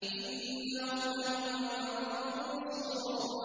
إِنَّهُمْ لَهُمُ الْمَنصُورُونَ